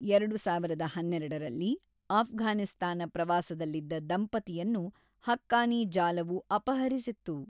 ಎರಡು ಸಾವಿರದ ಹನ್ನೆರಡರಲ್ಲಿ ಅಫ್ಘಾನಿಸ್ತಾನ ಪ್ರವಾಸದಲ್ಲಿದ್ದ ದಂಪತಿಯನ್ನು ಹಕ್ಕಾನಿ ಜಾಲವು ಅಪಹರಿಸಿತ್ತು.